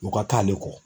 U ka taa ale kɔ